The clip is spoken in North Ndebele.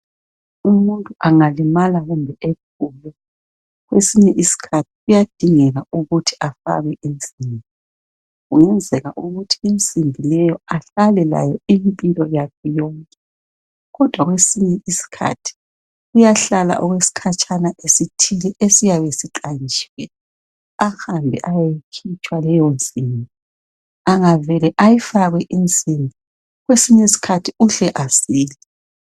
Umuntu angalimala kumbe ephuke. Kwesinye isikhathi kuyadingeka ukuthi afakwe insimbi. Kungenzeka ukuthi insimbi leyo ahlale layo, impilo yakhe yonke. Kodwa kwesinye isikhathi uyahlala okwesikhatshana esithile, esiyabe siqanjiwe. Ahambe ayeyikhutshwa leyonsimbi. Angavela ayifake insimbi. Kwesinye isikhathi uhle asile.